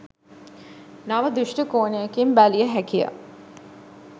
නව දෘෂ්ටි කෝණයකින් බැලිය හැකිය